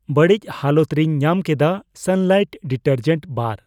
ᱵᱟᱹᱲᱤᱪ ᱦᱟᱞᱚᱛ ᱨᱮᱧ ᱧᱟᱢᱠᱮᱫᱟ ᱥᱟᱱᱞᱟᱭᱤᱴ ᱰᱤᱴᱟᱨᱡᱮᱱ ᱵᱟᱨ